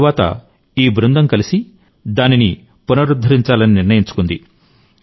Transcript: తరువాత ఈ బృందం కలిసి దానిని పునరుద్ధరించాలని నిర్ణయించుకుంది